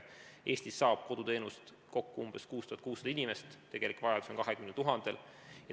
Eestis saab koduteenust kokku umbes 6600 inimest, tegelik vajadus on 20 000 inimesel.